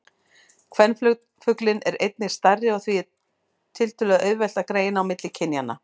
Kvenfuglinn er einnig stærri og því er tiltölulega auðvelt að greina á milli kynjanna.